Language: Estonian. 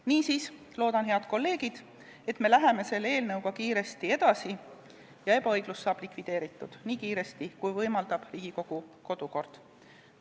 Niisiis loodan, head kolleegid, et me läheme selle eelnõuga kiiresti edasi ja ebaõiglus saab likvideeritud nii kiiresti, kui võimaldab Riigikogu kodukord.